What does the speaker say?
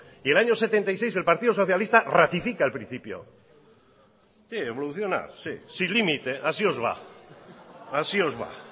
y en el año mil novecientos setenta y seis el partido socialista ratifica el principio sí evoluciona sin límite así os va así os va